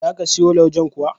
Za ka siyo laujen kuwa?